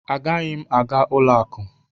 Agaghị m aga ụlọ akụ!